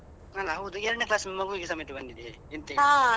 ಅಲ್ಲ ಹೌದು ಎರಡ್ನೆ class ನ ಮಗುವಿಗೆ ಸಮೇತ ಬಂದಿದೆ ಎಂಥ ಹೇಳುದು